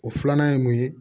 O filanan ye mun ye